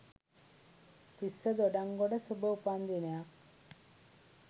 තිස්ස දොඩන්ගොඩ සුභ උපන් දිනයක්